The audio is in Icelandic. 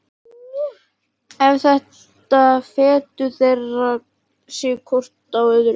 Eftir þetta fetuðu þeir sig hvor frá öðrum.